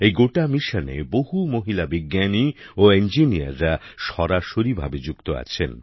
এই গোটা মিশনে বহু মহিলা বিজ্ঞানী ও ইঞ্জিনিয়াররা সরাসরি ভাবে যুক্ত আছেন